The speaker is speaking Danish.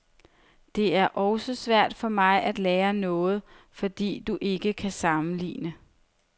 Det er også svært for mig at lære noget, fordi du ikke kan sammenligne.